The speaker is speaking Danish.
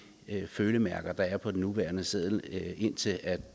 følemærker der er på de nuværende sedler indtil